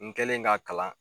N kɛlen ka kalan